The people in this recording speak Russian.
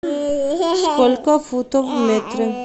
сколько футов в метре